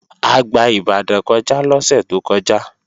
A gba Ìbàdàn kọjá lọ́sẹ̀ tó kọjá